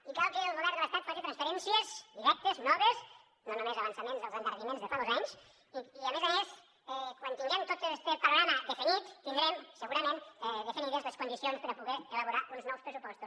i cal que el govern de l’estat face transferències directes noves no només avançaments dels endarreriments de fa dos anys i a més a més quan tinguem tot este panorama definit tindrem segurament definides les condicions per a poder elaborar uns nous pressupostos